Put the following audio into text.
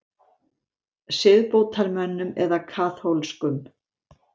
Siðbótarmönnum eða kaþólskum?